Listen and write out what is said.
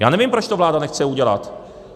Já nevím, proč to vláda nechce udělat.